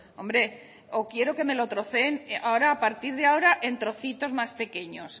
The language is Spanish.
hombre o quiero que me lo troceen a partir de ahora en trocitos más pequeños